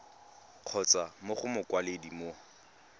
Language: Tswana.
kgotsa mo go mokwaledi mo